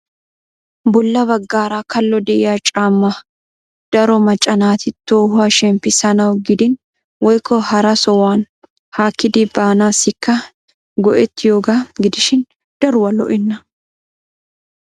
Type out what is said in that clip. Bolla baggaara kallo de'iyaa caamma daroo macca naati tohuwaa shemppissanaw gidin woykko hara sohuwan haakkidi baanassikka go"ettiyooga gidishin daruwaa lo"ena.